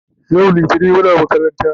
yau littani Muna makaranta